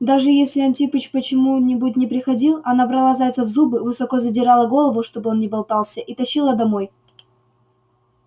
даже если антипыч почему-нибудь не приходил она брала зайца в зубы высоко задирала голову чтобы он не болтался и тащила домой